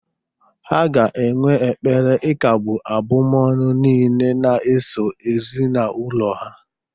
Ha ga-enwe ekpere ikagbu abụmọnụ niile na-eso ezinaụlọ ha